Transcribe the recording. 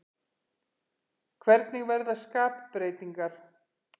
Hvernig verða skapbreytingar?